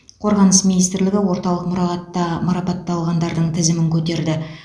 қорғаныс министрлігі орталық мұрағатта марапатталғандардың тізімін көтерді